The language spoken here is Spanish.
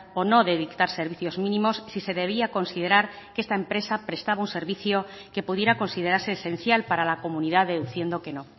o no de dictar servicios mínimos si se debía considerar que esta empresa prestaba un servicio que pudiera considerarse esencial para la comunidad deduciendo que no